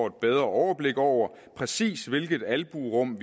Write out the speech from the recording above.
et bedre overblik over præcis hvilket albuerum